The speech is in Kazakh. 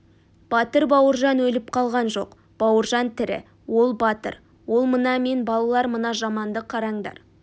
батыр бауыржан өліп қалған жоқ бауыржан тірі ол батыр ол мына мен балалар мына жаманды қараңдар